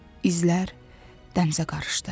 İzlər dənizə qarışdı.